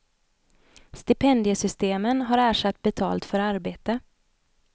Stipendiesystemen har ersatt betalt för arbete.